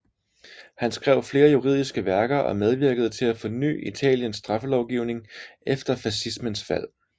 Han skrev flere juridiske værker og medvirkede til at forny Italiens straffelovgivning efter fascismens fald